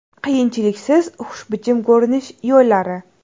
Qiyinchiliksiz xushbichim ko‘rinish yo‘llari.